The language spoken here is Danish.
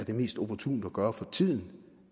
mest opportunt at gøre sådan for tiden